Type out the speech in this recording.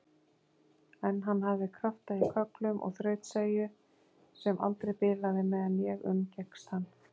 En hann hafði krafta í kögglum og þrautseigju sem aldrei bilaði meðan ég umgekkst hann.